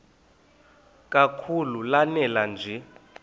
kakhulu lanela nje